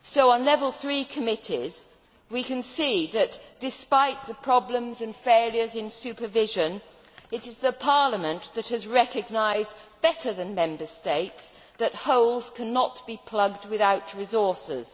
On Level 3 committees we can see that, despite the problems and failures in supervision, it is Parliament that has recognised better than Member States that holes cannot be plugged without resources.